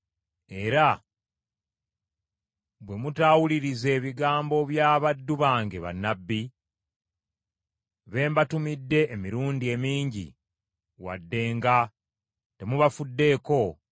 era bwe mutaawulirize bigambo bya baddu bange bannabbi, be mbatumidde emirundi emingi wadde nga temubafuddeeko,